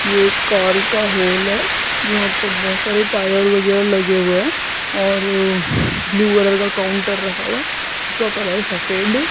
ये एक कार का हॉल है जहां पे बहोत सारे टायर वगैरा लगे हुए है और ब्लू कलर का काउंटर रखा हुआ है उसका कलर सफेद है।